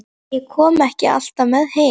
En ég kom ekki alltaf með heim.